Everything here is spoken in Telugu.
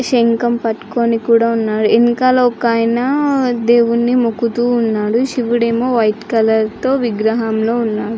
శంఖం పెట్టుకొని కూడా ఉన్నారు. వెనక ఒక ఆయన దేవుడిని మొక్కుతువనాడు. శివుడు ఏమో వైట్ కలర్ విగ్రహంలో ఉన్నాడు.